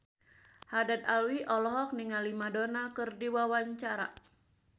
Haddad Alwi olohok ningali Madonna keur diwawancara